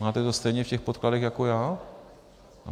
Máte to stejně v těch podkladech jako já?